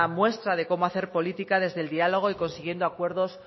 muestra de cómo hacer política desde el diálogo y consiguiendo acuerdos